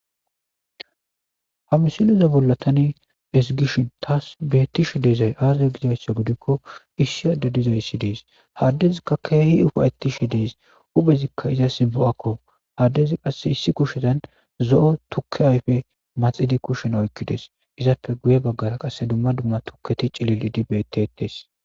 hamsiliza bollatani esigishin taas bettishe deezay aazay gizayssa gudikko issi adda dizayssi dees haddezikka keehi ufayetishe dees uphezikka iza simbo7akko haddezi qasse issi kushetan zo7o tukke ayfe maxidi kushen oykkides izappe guye baggara qasse dumma dumma tukketi cilil idi betetes